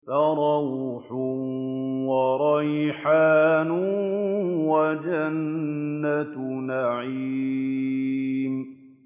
فَرَوْحٌ وَرَيْحَانٌ وَجَنَّتُ نَعِيمٍ